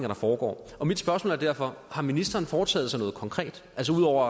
der foregår mit spørgsmål er derfor har ministeren foretaget sig noget konkret altså ud over